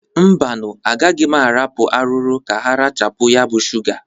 Mbanụ, agaghị m ahapụ arụrụ ka ha rachapụ ya bụ shụga.